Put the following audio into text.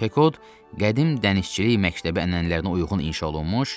Pekod qədim dənizçilik məktəbi ənənələrinə uyğun inşa olunmuş,